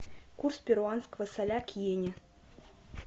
курс перуанского соля к йене